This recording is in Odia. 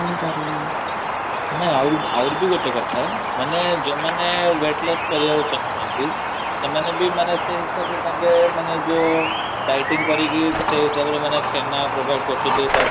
ଶାଗ ତାପରେ ସବୁବେଳେ ଅମୃତଭଣ୍ଡା ଖାଇବା ପାଇଁ ମାନେ ଯୋଉମାନେ body maintain କରୁଛନ୍ତି.